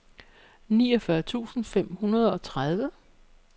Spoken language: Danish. niogfyrre tusind fem hundrede og tredive